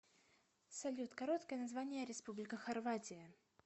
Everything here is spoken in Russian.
салют короткое название республика хорватия